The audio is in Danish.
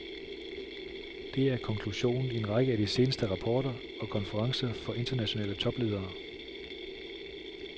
Det er konklusionen i en række af de seneste rapporter og konferencer for internationale topledere.